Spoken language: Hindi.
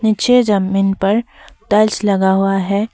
नीचे जमीन पर टाइल्स लगा हुआ है।